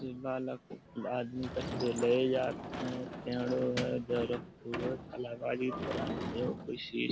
जे बालक आदमी कछु लै जात हैं। पेड़ों हैं